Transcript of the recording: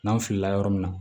N'an filila yɔrɔ min na